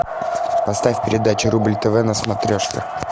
поставь передачу рубль тв на смотрешке